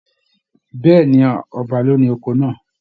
Bẹ̀ẹ́ni, ọba ló ní oko náà.